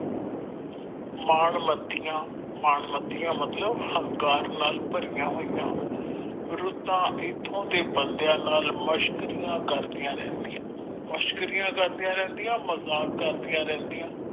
ਮਾਣ ਮਤੀਆਂ ਮਨ ਮਤੀਆਂ ਮਤਲਬ ਅਹੰਕਾਰ ਨਾਲ ਭਰਿਆ ਹੋਇਆ ਰੁੱਤਾਂ ਇੱਥੋਂ ਦੇ ਬੰਦਿਆਂ ਨਾਲ ਮਸ਼ਕਰੀਆਂ ਕਰਦਿਆਂ ਰਹਿੰਦੀਆਂ ਮਸ਼ਕਰੀਆਂ ਕਰਦਿਆਂ ਰਹਿੰਦੀਆਂ ਮਜਾਕ ਕਰਦਿਆਂ ਰਹਿੰਦੀਆਂ।